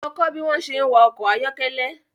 Lọ kó bi wón se ń wa ọkọ̀ ayọ́kẹ́lẹ́